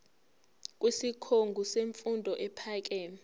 kwisikhungo semfundo ephakeme